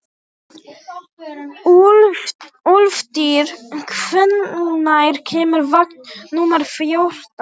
Úlftýr, hvenær kemur vagn númer fjórtán?